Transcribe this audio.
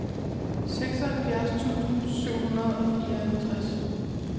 seksoghalvfjerds tusind syv hundrede og fireoghalvtreds